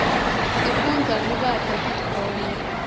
sifundza kubata titfombe